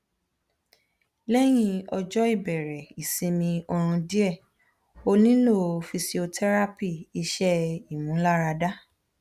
lehin ojo ibere isimi orun die onilo physiotherapy ise imularade